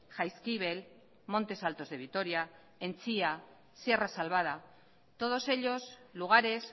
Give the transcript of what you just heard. jaizkibel montes alto de vitoria entzia sierra salvada todos ellos lugares